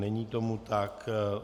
Není tomu tak.